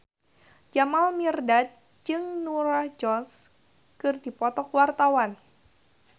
Jamal Mirdad jeung Norah Jones keur dipoto ku wartawan